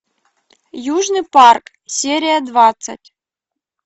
южный парк серия двадцать